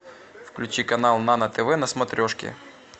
включи канал нано тв на смотрешке